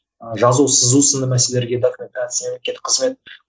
ы жазу сызу сынды мәселеге документация